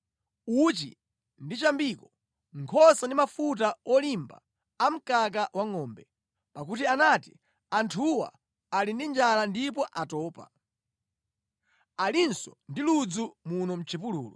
uchi ndi chambiko, nkhosa ndi mafuta olimba a mkaka wangʼombe. Pakuti anati, “Anthuwa ali ndi njala ndipo atopa, alinso ndi ludzu muno mʼchipululu.”